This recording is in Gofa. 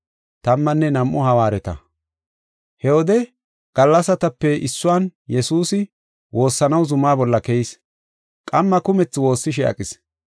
He wode gallasatape issuwan Yesuusi woossanaw zuma bolla keyis. Qamma kumethi woossishe aqis.